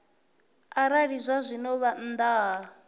arali zwazwino vha nnḓa ha